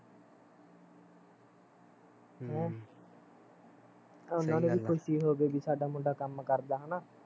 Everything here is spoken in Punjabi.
ਹਮ ਉਹਨਾਂ ਨੂੰ ਵੀ ਖੁਸ਼ੀ ਹੋਊਗੀ ਕੀ ਸਾਡਾ ਮੁੰਡਾ ਕੰਮ ਕਰਦਾ ਹੈਨਾ